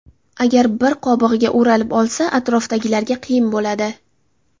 Agar bir qobig‘iga o‘ralib olsa, atrofdagilarga qiyin bo‘ladi.